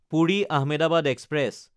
পুৰি–আহমেদাবাদ express